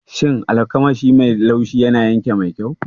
Shin almakashi mai laushi yana yanka mai kyau?